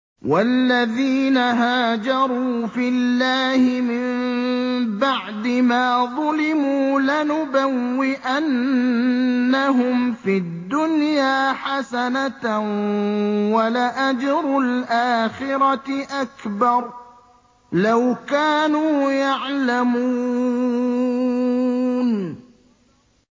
وَالَّذِينَ هَاجَرُوا فِي اللَّهِ مِن بَعْدِ مَا ظُلِمُوا لَنُبَوِّئَنَّهُمْ فِي الدُّنْيَا حَسَنَةً ۖ وَلَأَجْرُ الْآخِرَةِ أَكْبَرُ ۚ لَوْ كَانُوا يَعْلَمُونَ